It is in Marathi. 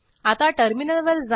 आता टर्मिनलवर जा